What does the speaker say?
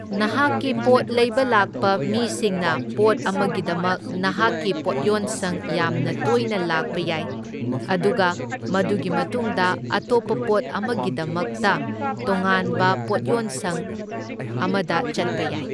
ꯅꯍꯥꯛꯀꯤ ꯄꯣꯠ ꯂꯩꯕ ꯂꯥꯛꯄ ꯃꯤꯁꯤꯡꯅ ꯄꯣꯠ ꯑꯃꯒꯤꯗꯃꯛ ꯅꯍꯥꯛꯀꯤ ꯄꯣꯠꯌꯣꯟꯁꯪ ꯌꯥꯝꯅ ꯇꯣꯏꯅ ꯂꯥꯛꯄ ꯌꯥꯏ, ꯑꯗꯨꯒ ꯃꯗꯨꯒꯤ ꯃꯇꯨꯡꯗ ꯑꯇꯣꯞꯄ ꯄꯣꯠ ꯑꯃꯒꯤꯗꯃꯀꯇ ꯇꯣꯉꯥꯟꯕ ꯄꯣꯠꯌꯣꯟꯁꯪ ꯑꯃꯗ ꯆꯠꯄ ꯌꯥꯏ꯫